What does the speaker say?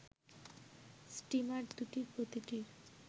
steamer দুটির প্রতিটির